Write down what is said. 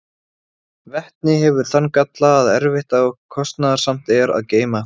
Vetni hefur þann galla að erfitt og kostnaðarsamt er að geyma það.